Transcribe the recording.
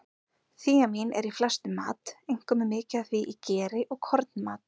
Þíamín er í flestum mat, einkum er mikið af því í geri og kornmat.